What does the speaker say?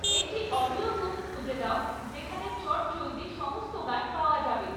একটি audio book খুঁজে দাও যেখানে চটজলদি সমস্ত গান পাওয়া যাবে